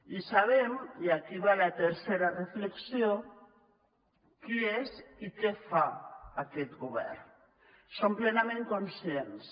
i sabem i aquí va la tercera reflexió qui és i què fa aquest govern en som plenament conscients